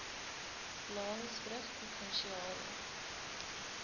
laingsburgprovinsiale